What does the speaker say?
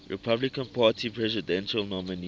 republican party presidential nominees